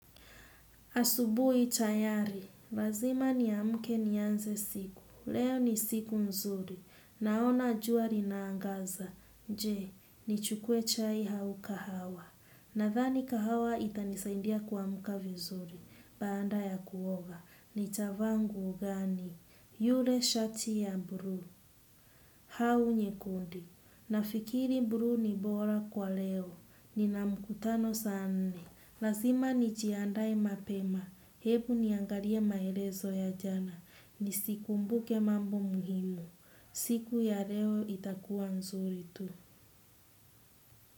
Asubuhi tayari, lazima niamke nianze siku, leo ni siku mzuri, naona jua linaangaza, je, nichukue chai au kahawa, nadhhani kahawa itanisaindia kuamka vizuri, baada ya kuoga, nitavaa nguo gani, yule shati ya bluu, au nyekundu nafikiri bluu ni bora kwa leo, nina mkutano saa nne. Lazima nijiandae mapema. Ebu niangalie maelezo ya jana. Ni sikumbuke mambo muhimu. Siku ya leo itakuwa nzuri tu.